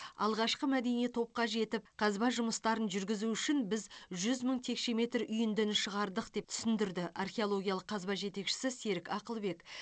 алғашқы мәдени топқа жетіп қазба жұмыстарын жүргізу үшін біз жүз мың текше метр үйіндіні шығардық деп түсіндірді археологиялық қазба жетекшісі серік ақылбек